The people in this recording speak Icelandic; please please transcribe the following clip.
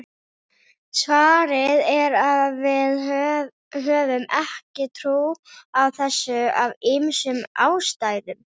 Svarið er að við höfum ekki trú á þessu af ýmsum ástæðum.